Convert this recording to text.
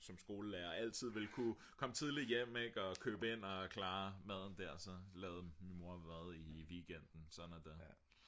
som skolelærer altid vil kunne komme tidligt hjem ik og købe ind og klare maden der så og så lavede min mor mad i weekenden sådan er det